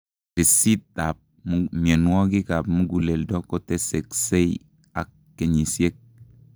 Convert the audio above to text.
Risit ab mionwogik ab muguleldo kotesksei ak kenyisiek